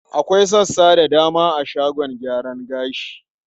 Akwai sassa da dama a shagon gyaran gashi.